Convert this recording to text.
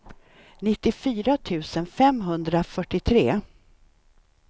nittiofyra tusen femhundrafyrtiotre